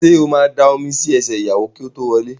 Sọ ma da omi sí ẹsẹ̀ ìyàwó kí ó tó wọlé?